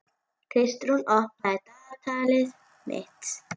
Kristrún, opnaðu dagatalið mitt.